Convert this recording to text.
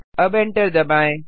अब एंटर दबाएँ